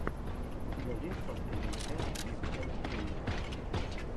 у тебя есть последняя часть евгена геймин